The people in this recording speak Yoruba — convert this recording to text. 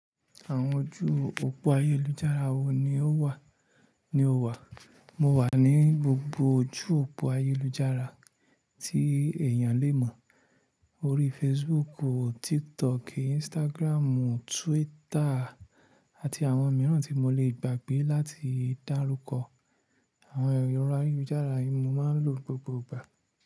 Àwọn ojú òpó ayélujára wo ni o wà? Mo wà ní gbogbo ojú òpó ayélujára tí èèyàn lè mọ̀. Orí Facebook, TikTok, Instagram, Twitter àti àwọn mìíràn tí mo lè gbàgbé láti dárúkọ. Àwọn ẹ̀rọ ayélujára yìí mo máa ń lò gbogbo ìgbà.